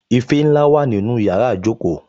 Ife ńlá wà nínú yàrá ìjókòó